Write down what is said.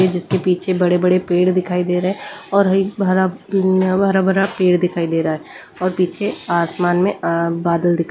जिसके पीछे बड़े-बड़े पेड़ दिखाई दे रहे हैं और एक भरा भरा भरा पेड़ दिखाई दे रहा है और पीछे आसमान में बादल--